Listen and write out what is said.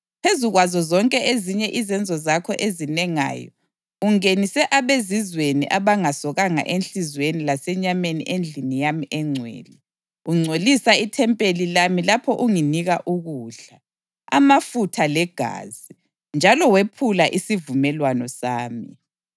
Phezu kwazo zonke ezinye izenzo zakho ezinengayo ungenise abezizweni abangasokanga enhliziyweni lasenyameni endlini yami engcwele, ungcolisa ithempeli lami lapho unginika ukudla, amafutha legazi, njalo wephula isivumelwano sami.